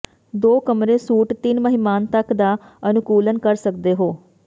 ਦੋ ਕਮਰੇ ਸੂਟ ਤਿੰਨ ਮਹਿਮਾਨ ਤੱਕ ਦਾ ਅਨੁਕੂਲਣ ਕਰ ਸਕਦੇ ਹੋ